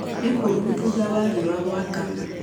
Nĩ kũũmu thutha wa riũa gũakana